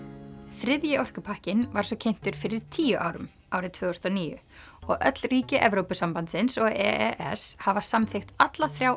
þriðji orkupakkinn var svo kynntur fyrir tíu árum árið tvö þúsund og níu og öll ríki Evrópusambandsins og e s hafa samþykkt alla þrjá